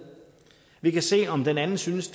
vi kan se om den anden synes